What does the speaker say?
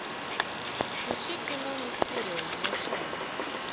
включи кино мистериум начало